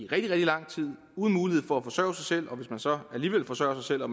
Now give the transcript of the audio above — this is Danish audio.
rigtig lang tid uden mulighed for at forsørge sig selv og hvis de så alligevel forsørger sig selv og